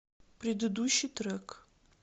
предыдущий трек